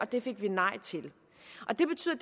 det fik vi nej til og det betyder